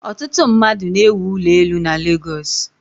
Ọtụtụ mmadụ na-ewụ ụlọ elu na Legọsụ.